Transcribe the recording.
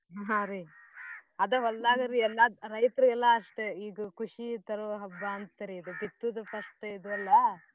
ಹಾ ರೀ ಅದ ಹೊಲ್ದಾಗರೀ ಎಲ್ಲಾ ರೈತ್ರಿಗೆಲ್ಲ ಅಷ್ಟೇ ಇದು ಖುಷಿ ತರೋ ಹಬ್ಬಾ ಅಂತರಿ ಇದು ಬಿತ್ತೂದು first ಇದು ಅಲ್ಲಾ.